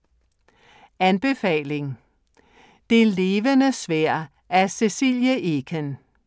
Anbefaling: Det Levende Sværd af Cecilie Eken